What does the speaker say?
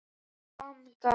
Elsku langa.